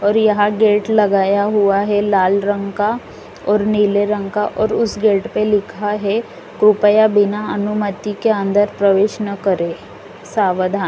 और यहां गेट लगाया हुआ है लाल रंग का और नीले रंग का और उसे गेट पर लिखा है कृपया बिना अनुमति के अंदर प्रवेश न करें सावधान।